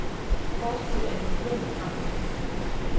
Forskuddet er en millione franc. punktum